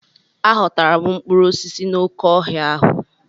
Aghọtara m mkpụrụ osisi n'oké ọhịa ahụ.